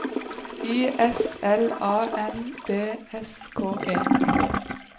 I S L A N D S K E